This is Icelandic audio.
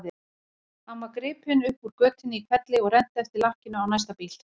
Hann var gripinn upp úr götunni í hvelli og rennt eftir lakkinu á næsta bíl.